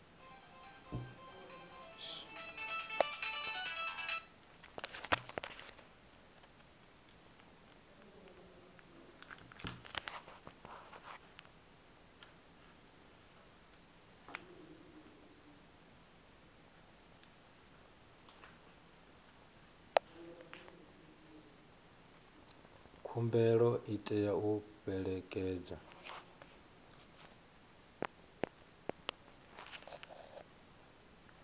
khumbelo i tea u fhelekedzwa